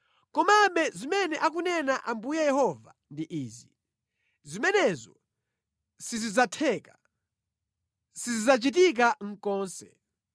Komabe zimene akunena Ambuye Yehova ndi izi: “ ‘Zimenezo sizidzatheka, sizidzachitika konse,